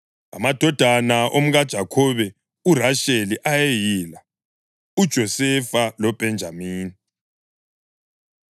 Amadodana omkaJakhobe uRasheli ayeyila: uJosefa loBhenjamini.